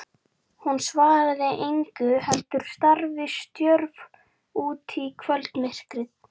Hún svaraði engu heldur starði stjörf út í kvöldmyrkrið.